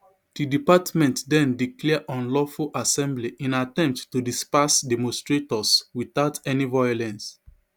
di department den declare unlawful assembly in attempt to disperse demonstrators witout any violence